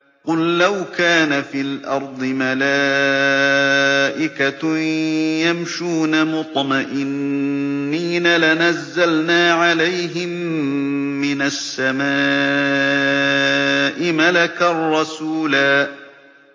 قُل لَّوْ كَانَ فِي الْأَرْضِ مَلَائِكَةٌ يَمْشُونَ مُطْمَئِنِّينَ لَنَزَّلْنَا عَلَيْهِم مِّنَ السَّمَاءِ مَلَكًا رَّسُولًا